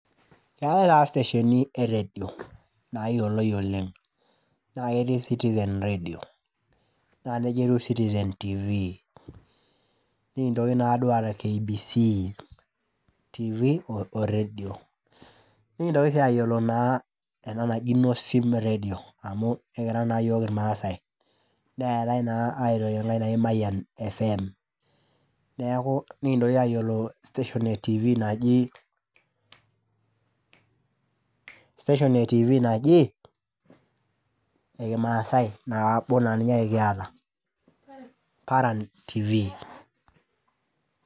Eetae taa statieni eredio nayioloi oleng naketii citizen radio na nejia etiu citizen tv nikinoki aata kbc tv oredio nintoki sii ayioloena naji nosim redio amu ekiraa na yiol irmasaai neetai sii enkae naji mayian frm nikintoki ayiolo station e tifi naji ekimasaai naninye ake kiata ,paran tifi .